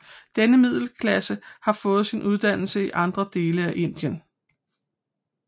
Denne middelklasse har fået sin uddannelse i andre dele af Indien